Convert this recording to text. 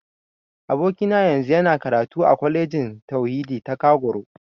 Abokina yanzu yana karatu a Kwalejin Tauhidi ta Kagoro.